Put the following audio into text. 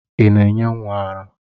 Ị na-enye nwa ara?